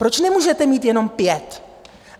Proč nemůžete mít jenom pět?